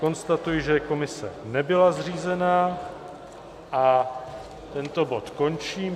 Konstatuji, že komise nebyla zřízena, a tento bod končím.